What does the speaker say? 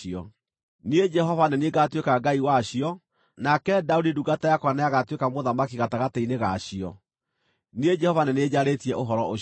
Niĩ Jehova nĩ niĩ ngaatuĩka Ngai wacio, nake Daudi ndungata yakwa nĩagatuĩka mũthamaki gatagatĩ-inĩ ga cio. Niĩ Jehova nĩ niĩ njarĩtie ũhoro ũcio.